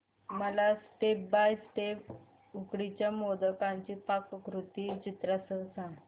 मला step by step उकडीच्या मोदकांची पाककृती चित्रांसह सांग